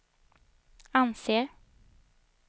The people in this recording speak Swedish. anser